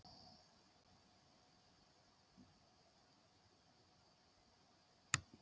Er Gulli elsti maðurinn til að verja víti í efstu deild á Íslandi?